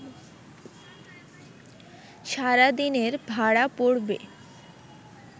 সারাদিনের ভাড়া পড়বে